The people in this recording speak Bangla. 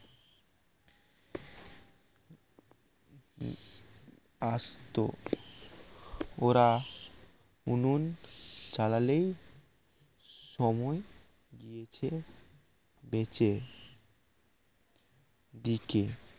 আসত ওরা উনুন চালালেই সময় গিয়েছে বেঁচে দিকে